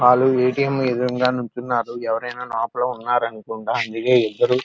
వాళ్లు A. T. M. దురుగా నుంచున్నారు లోపల ఎవరు అయినఉన్నారు అనుకుంట అందుకే ఇద్దరు --